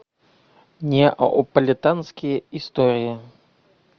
неаполитанские истории